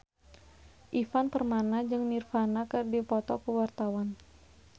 Ivan Permana jeung Nirvana keur dipoto ku wartawan